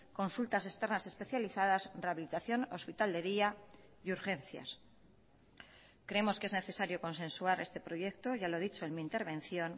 consultas externas especializadas rehabilitación hospital de día y urgencias creemos que es necesario consensuar este proyecto ya lo he dicho en mi intervención